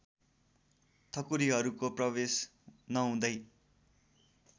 ठकुरीहरूको प्रवेश नहुँदै